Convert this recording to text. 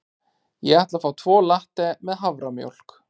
Ég ætla að fá tvo latte með haframjólk.